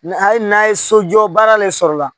A ye n'a ye sojɔ baara de sɔrɔ la